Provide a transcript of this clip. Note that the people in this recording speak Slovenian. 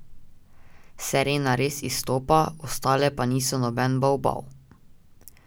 Serena res izstopa, ostale pa niso noben bavbav.